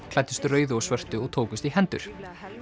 klæddust rauðu og svörtu og tókust í hendur